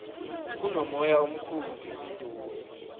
kunomoya omkhulu ngepitori